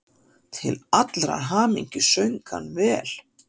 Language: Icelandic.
Til allrar hamingju söng hann vel!